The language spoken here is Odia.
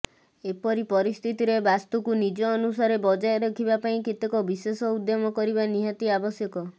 ଏପରି ପରିସ୍ଥିତିରେ ବାସ୍ତୁକୁ ନିଜ ଅନୁସାରେ ବଜାୟ ରଖିବା ପାଇଁ କେତେକ ବିଶେଷ ଉଦ୍ୟମ କରିବା ନିହାତି ଆବଶ୍ୟକ